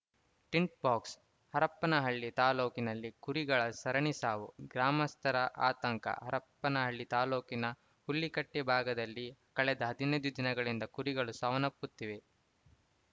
ThinkFox Harappanahalli ತಾಲೂಕಿನಲ್ಲಿ ಕುರಿಗಳ ಸರಣಿ ಸಾವು ಗ್ರಾಮಸ್ಥರ ಆತಂಕ ಹರಪ್ಪನಹಳ್ಳಿ ತಾಲೂಕಿನ ಹುಳ್ಳಿಕಟ್ಟೆ ಭಾಗದಲ್ಲಿ ಕಳೆದ ಹದಿನೈದು ದಿನಗಳಿಂದ ಕುರಿಗಳು ಸಾವನಪ್ಪುತಿದೆ